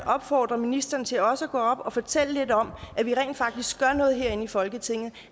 opfordre ministeren til også at gå op og fortælle lidt om at vi rent faktisk gør noget herinde i folketinget